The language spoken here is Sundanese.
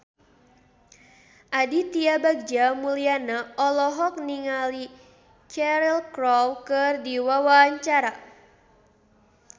Aditya Bagja Mulyana olohok ningali Cheryl Crow keur diwawancara